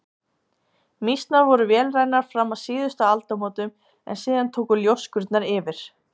Mýsnar voru vélrænar fram að síðustu aldamótum en síðan tóku ljóskurnar yfir.